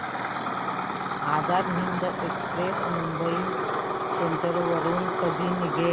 Azad Hind express Mumbai central वरून कधी निघेल